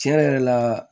Tiɲɛ yɛrɛ la